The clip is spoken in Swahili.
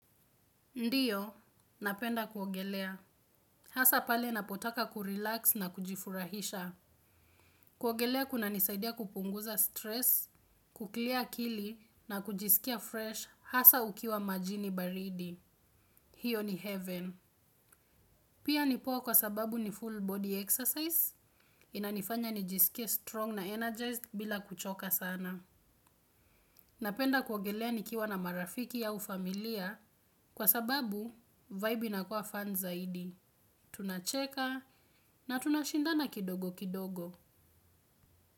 Ndiyo, napenda kuogelea. Hasa pale napotaka kurelax na kujifurahisha. Kuogelea kuna nisaidia kupunguza stress, kuclear akili na kujisikia fresh hasa ukiwa majini baridi. Hiyo ni heaven. Pia nipoa kwa sababu ni full body exercise, inanifanya nijisikie strong na energized bila kuchoka sana. Napenda kuogelea nikiwa na marafiki au familia kwa sababu vibe inakuwa fun zaidi. Tunacheka na tunashindana kidogo kidogo.